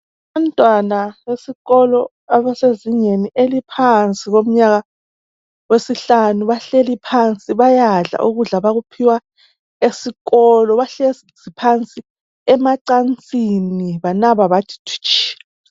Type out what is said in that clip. Abantwana besikolo abasezingeni eliphansi komnyaka wesihlanu bahleli phansi bayadla ukudla abakuphiwa esikolo bahlezi phansi emacansini banaba bathi thwitshi.